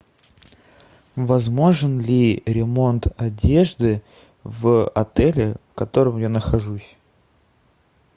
возможен ли ремонт одежды в отеле в котором я нахожусь